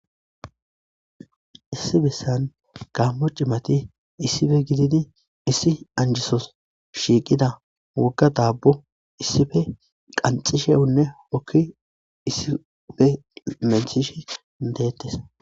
issi bessan gammo cimati issife gidin issi anjisos shiiqida wogga daabbo issife qanxishewunne hokki issife menhish deettes